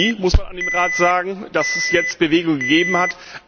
spät als nie, muss man dem Rat sagen, da es jetzt Bewegung gegeben hat.